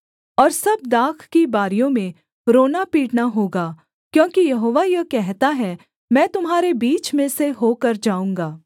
और सब दाख की बारियों में रोनापीटना होगा क्योंकि यहोवा यह कहता है मैं तुम्हारे बीच में से होकर जाऊँगा